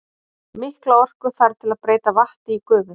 Mikla orku þarf til að breyta vatni í gufu.